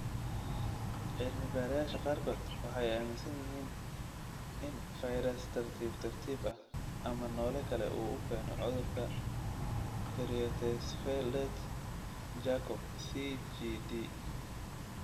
Cilmi-baarayaasha qaarkood waxay aaminsan yihiin in 'fayras tartiib tartiib ah' ama noole kale uu keeno cudurka Creutzfeldt Jakob (CJD).